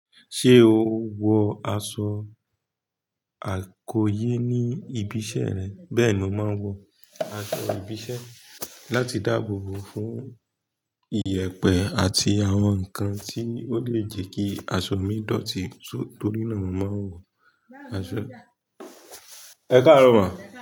Ṣé o wọ aṣọ àkóyé ní ibi iṣẹ́ rẹ? Bẹ́ẹ̀ni, mo máa ń wọ aṣọ ibi iṣẹ́ láti dáàbò bo fún ìyẹ̀pẹ̀ àti àwọn nǹkan tí ó lè jẹ́ kí aṣọ mi dọ̀tí torí náà mo máa ń wọ aṣọ ẹ̀kaarọ ma?